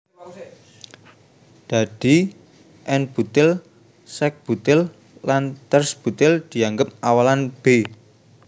Dadi n butil sek butil lan ters butil dianggep awalan b